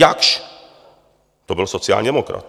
Jaksch, to byl sociální demokrat.